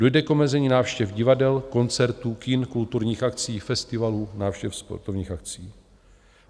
Dojde k omezení návštěv divadel, koncertů, kin, kulturních akcí, festivalů, návštěv sportovních akcí.